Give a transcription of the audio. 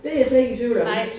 Det jeg slet ikke i tvivl om